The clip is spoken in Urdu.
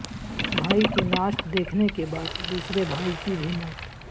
بھائی کی نعش دیکھنے کے بعد دوسرے بھائی کی بھی موت